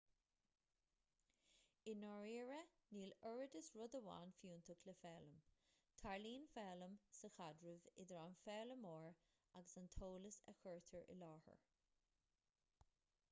i ndáiríre níl oiread is rud amháin fiúntach le foghlaim tarlaíonn foghlaim sa chaidreamh idir an foghlaimeoir agus an t-eolas a chuirtear i láthair